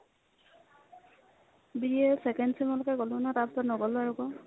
BA second sem লৈকে ল'লো তাৰপিছত নল'লো আৰ্ আকৌ